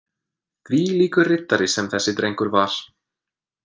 Þvílíkur riddari sem þessi drengur var.